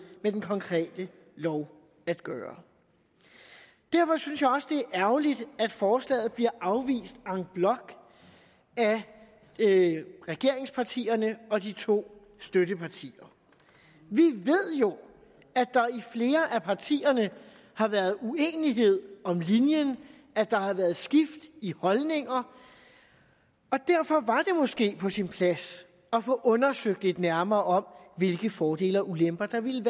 med den konkrete lov at gøre derfor synes jeg også det er ærgerligt at forslaget bliver afvist en bloc af regeringspartierne og de to støttepartier vi ved jo at der i flere af partierne har været uenighed om linjen at der har været skift i holdninger og derfor var måske på sin plads at få undersøgt lidt nærmere hvilke fordele og ulemper der ville